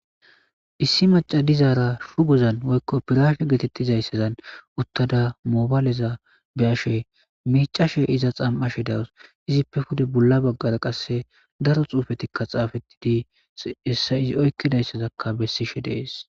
Issi macadizaara shu gozan woykko piraashe geetettizayssazan uttada moobaaleza be ashe miicashe iza xam7ashe dawus izippe pude bolla baggara qasse daro xuufetikka xaafetidi hessa izi oykkidayssazakka bessishe dees